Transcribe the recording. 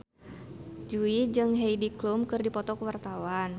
Jui jeung Heidi Klum keur dipoto ku wartawan